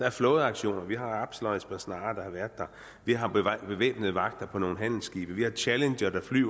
er flådeaktioner vi har absalon og esbern snare der har været der vi har bevæbnede vagter på nogle handelsskibe vi har challengerfly